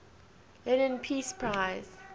lenin peace prize